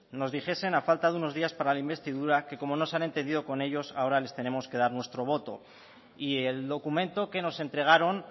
nos dijesen a falta de unos días para la investidura que como no se han entendido con ellos ahora les tenemos que dar nuestro voto y el documento que nos entregaron